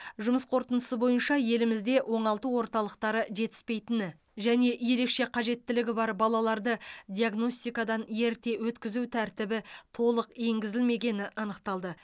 жұмыс қорытындысы бойынша елімізде оңалту орталықтары жетіспейтіні және ерекше қажеттілігі бар балаларды диагностикадан ерте өткізу тәртібі толық енгізілмегені анықталды